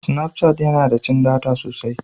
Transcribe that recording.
Sinaf cat yana da cin data sosai.